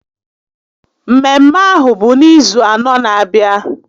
Mmemme ahụ bụ n'izu anọ n'abịa